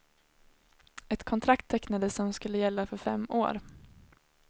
Ett kontrakt tecknades som skulle gälla för fem år.